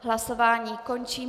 Hlasování končím.